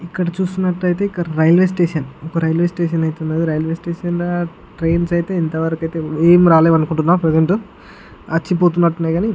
ఇక్కడ చూస్తున్నటయితే అయితే ఇక్కడ ఒక రైల్వే స్టేషన్ ఒక రైల్వే స్టేషన్ అయతె వున్నది ఆ ఒక రైల్వే స్టేషన్ ల ట్రైన్స్ అయితే ఇంతవరకు అయితే ఏం రాలేదు అనుకుంటన ప్రెసెంట్ వచ్చి పోతున్నట్టు ఉన్నాయి గాని --